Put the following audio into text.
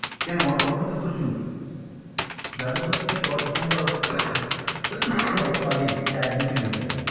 কেন কেন অটো তো প্রচুর যাদবপুর থেকে তো এখানকার অটো টো পাবি এই তো এক দু কিলোমিটার